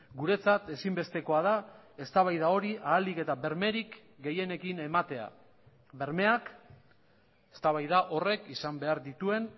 guretzat ezinbestekoa da eztabaida hori ahalik eta bermerik gehienekin ematea bermeak eztabaida horrek izan behar dituen